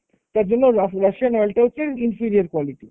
তার জন্য রা~ Russian oil টা হচ্ছে inferior quality।